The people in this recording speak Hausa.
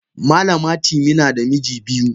Malama timi nada miji biyu.